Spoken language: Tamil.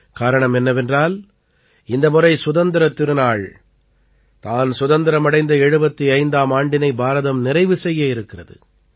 காரணம் என்னவென்றால் இந்த முறை சுதந்திரத் திருநாள் தான் சுதந்திரம் அடைந்த 75ஆம் ஆண்டினை பாரதம் நிறைவு செய்யவிருக்கிறது